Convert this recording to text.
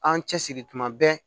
An cɛsiri tuma bɛɛ